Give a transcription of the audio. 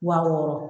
Wa wɔɔrɔ